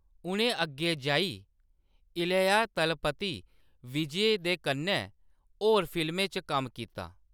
उʼनें अग्गें जाई इलैया तलपति विजय दे कन्नै होर फिल्में च कम्म कीता।